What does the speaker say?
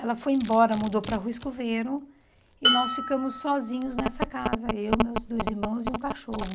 Ela foi embora, mudou para a Rua Escoveiro, e nós ficamos sozinhos nessa casa, eu, meus dois irmãos e um cachorro.